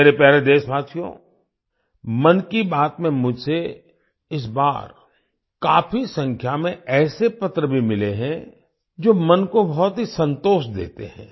मेरे प्यारे देशवासियो मन की बात में मुझे इस बार काफी संख्या में ऐसे पत्र भी मिले हैं जो मन को बहुत ही संतोष देते है